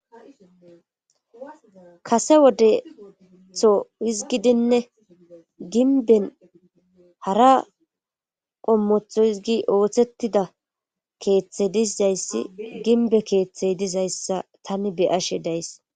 kase wodetho hizgidinne ginben hara qommotho hizgi ooththettida keeththey dizayssi ginbe keeththey dizayssa tani be7ashe days.